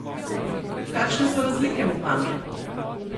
Kakšne so razlike med vami?